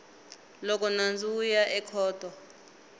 loko nandzu wu ya ekhoto